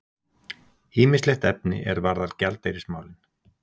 Ýmislegt efni er varðar gjaldeyrismálin.